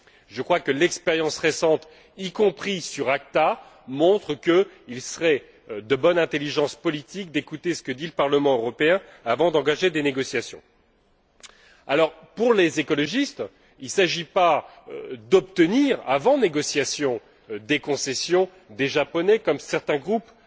Je crois que l'expérience récente, y compris sur ACTA, montre qu'il serait de bonne intelligence politique d'écouter ce que dit le Parlement européen avant d'engager des négociations. Pour les écologistes, il ne s'agit pas d'obtenir, avant négociation, des concessions des Japonais, comme certains groupes